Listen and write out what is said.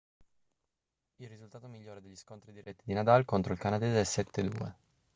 il risultato migliore degli scontri diretti di nadal contro il canadese è 7-2